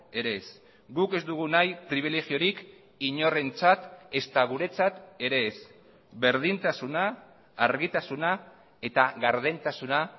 ere ez guk ez dugu nahi pribilegiorik inorentzat ezta guretzat ere ez berdintasuna argitasuna eta gardentasuna